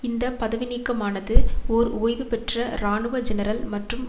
இந்த பதவிநீக்கமானது ஓர் ஓய்வு பெற்ற இராணுவ ஜெனரல் மற்றும்